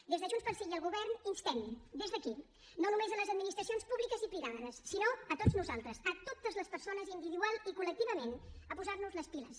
des de junts pel sí i el govern instem des d’aquí no només a les administracions públiques i privades sinó a tots nosaltres a totes les persones individual i col·lectivament a posar nos les piles